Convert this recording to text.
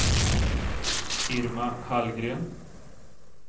Irma Hallgren